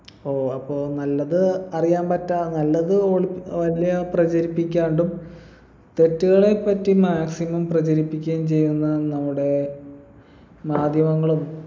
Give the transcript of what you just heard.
ഓ അപ്പൊ നല്ലത് അറിയാമ്പറ്റാ നല്ലത് ഒളി പ്രചരിപ്പിക്കാണ്ടും തെറ്റുകളെപ്പറ്റി maximum പ്രചരിപ്പിക്കുകയും ചെയ്യുന്ന നമ്മുടെ മാധ്യമങ്ങളും